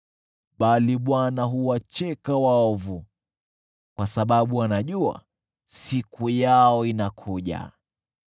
bali Bwana huwacheka waovu, kwa sababu anajua siku yao inakuja.